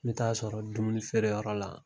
N bɛ t'a sɔrɔ dumuni feereyɔrɔ la.